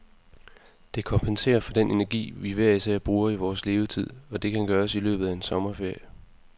Det kompenserer for den energi, vi hver især bruger i vores levetid, og det kan gøres i løbet af en sommerferie.